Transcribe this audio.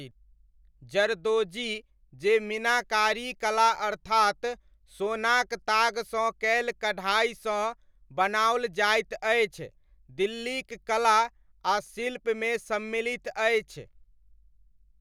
जरदोजी जे मीनाकारी कला अर्थात सोनाक तागसँ कयल कढ़ाइसँ बनाओल जाइत अछि, दिल्लीक कला आ शिल्पमे सम्मिलित अछि।